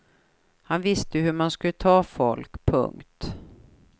Han visste hur man skulle ta folk. punkt